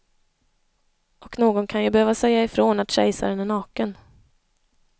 Och någon kan ju behöva säga ifrån att kejsaren är naken.